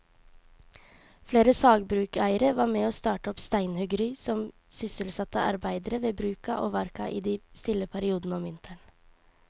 Flere sagbrukseiere var med å starte opp steinhuggeri som sysselsatte arbeidere ved bruka og verka i de stille periodene om vinteren.